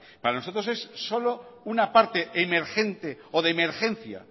para nosotros es solo una parte emergente o de emergencia